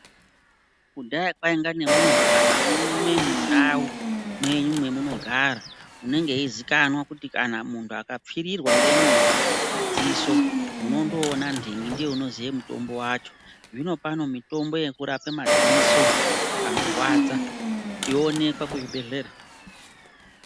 Kudhaya kwaiya kana nemuntu umwe mundau mwenyu mwemunogara unenge eizikanwa kuti kana muntu akapfirirwa ngenyoka mudziso monondoona ndingi ndiye unoziye mutombo wacho zvino pane mitombo yekurapa madziso anorwaradza inoonekwa kuzvibhedhlera.